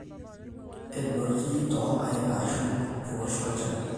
edoti toonkaik aashu eoshi olchani